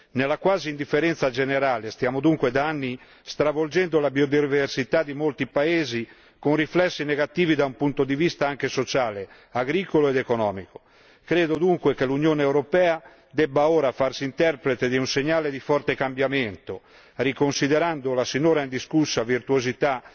Nella quasi indifferenza generale, stiamo dunque da anni stravolgendo la biodiversità di molti paesi, con riflessi negativi anche dal punto di vista sociale, agricolo ed economico. Credo dunque che l'Unione europea debba ora farsi interprete di un segnale di forte cambiamento, riconsiderando la sinora indiscussa virtuosità